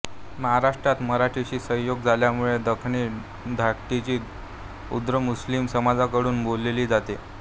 महाराष्ट्रात मराठीशी संयोग झाल्यामुळे दखनी धाटणीची उर्दू मुस्लिम समाजाकडून बोलली जाते